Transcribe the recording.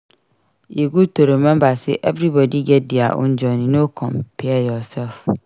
E good to remember sey everybody get dia own journey; no compare yourself.